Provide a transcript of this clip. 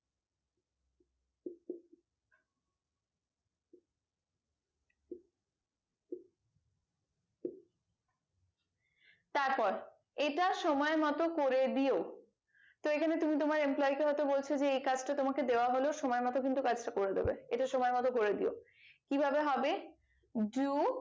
তারপর এটা সময় মতো করে দিয়ো তো এখানে তুমি তোমার employ কে হয়তো বলছো যে এই কাজটা তোমাকে দেওয়া হলো সময় মতো কিন্তু কাজটা করে দেবে এটা সময় মতো করে দিয়ো কি ভাবে হবে do